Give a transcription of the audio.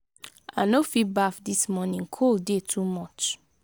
i no fit baff dis morning cold dey too much.